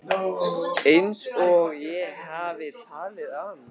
Einsog ég hafi talað af mér.